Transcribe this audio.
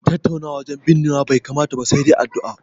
Tattaunawa wajen binnewa bai kamata ba, sai dai addu'a.